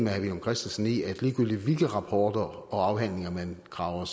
herre villum christensen i at ligegyldigt hvilke rapporter og afhandlinger man graver